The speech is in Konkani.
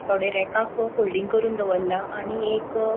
थोड़े रेकाक फोल्डिंग करून दवरला आणि एक --